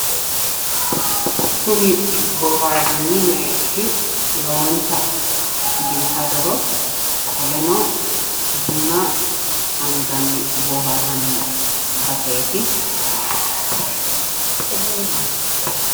kunni booharani meererrisi lowonita biifadoho kunni meererroshi bunna anigani boharanni lownita biffiadoho